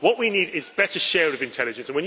What we need is better sharing of intelligence.